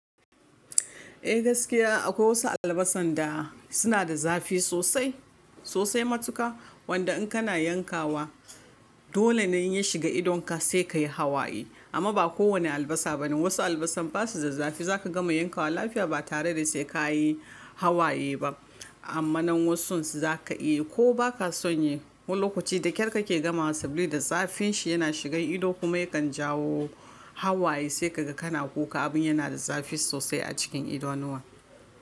Eh gaskiya akwai wasu albasan da suna da zafi sosai sosai matuƙa, wanda in kana yankawa dole ne ya shiga idonka sai ka yi hawaye. Amma ba kowane albasa bane wasu albasan basu da zafi, zaka gama yankawa lafiya ba tare da sai ka yi hawaye ba. Amma nan wasun su zaka yi ko ba ka son yi, wani lokaci da kyar kake gamawa sabila da zafin shi yana shigan ido kuma yakan jawo hawaye sai ka ga kana kuka abin yana da zafi sosai a cikin idanuwa.